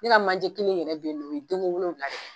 Ne ka manjɛ kelen yɛrɛ bɛ yen o ye denko wolonwula